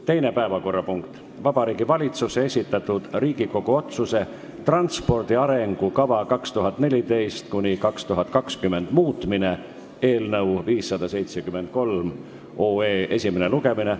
Teine päevakorrapunkt on Vabariigi Valitsuse esitatud Riigikogu otsuse ""Transpordi arengukava 2014–2020" muutmine" eelnõu 573 esimene lugemine.